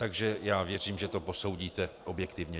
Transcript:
Takže já věřím, že to posoudíte objektivně.